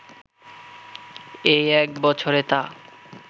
এই এক বছরে তা